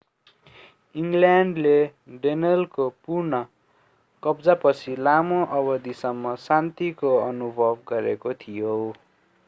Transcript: इङ्ग्ल्यान्डले डेनलको पुनः कब्जापछि लामो अवधिसम्म शान्तिको अनुभव गरेको थियो